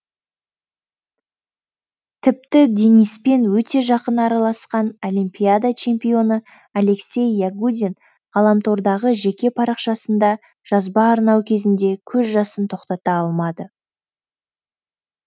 тіпті дениспен өте жақын араласқан олимпиада чемпионы алексей ягудин ғаламтордағы жеке парақшасында жазба арнау кезінде көз жасын тоқтата алмады